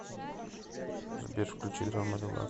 сбер включи драма релакс